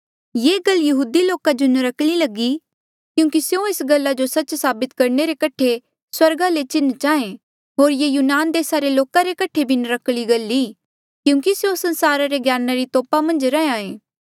ये गल यहूदी लोका जो नर्क्कली लगी क्योंकि स्यों एस गल्ला जो सच्च साबित करणे रे कठे स्वर्गा ले चिन्ह चाहें होर ये यूनान देसा रे लोका रे कठे भी नर्क्कली गल ई क्योंकि स्यों संसारा रे ज्ञाना री तोपा मन्झ रैंहयां ऐें